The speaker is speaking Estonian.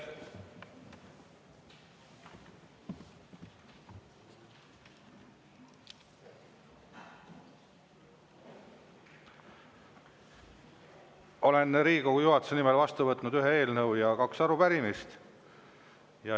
Olen Riigikogu juhatuse nimel vastu võtnud ühe eelnõu ja kaks arupärimist.